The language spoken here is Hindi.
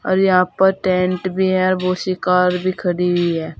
और यहां पर टेंट भी है और बहुत सी कार भी खड़ी हुई है।